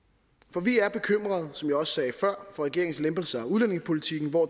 for vi er bekymrede som jeg også sagde før for regeringens lempelser af udlændingepolitikken hvor